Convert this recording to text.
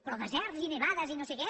però deserts i nevades i no sé què